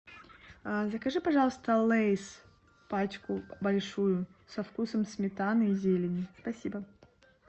закажи пожалуйста лейс пачку большую со вкусом сметаны и зелени спасибо